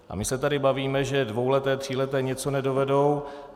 A my se tady bavíme, že dvouleté, tříleté něco nedovedou.